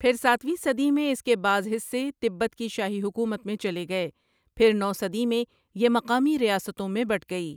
پھر ساتھویں صدی میں اس کے بعض حصے تبت کی شاہی حکومت میں چلے گئے پھر نو صدی میں یہ مقامی ریاستوں میں بٹ گئی ۔